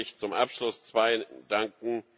Lassen Sie mich zum Abschluss zweien danken.